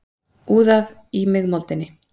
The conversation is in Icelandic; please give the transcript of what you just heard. Úðað í mig moldinni.